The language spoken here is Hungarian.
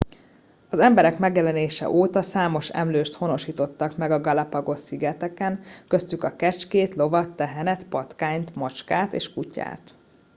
az emberek megjelenése óta számost emlőst honosítottak meg a galapagos szigeteken köztük a kecskét lovat tehenet patkányt macskát és kutyát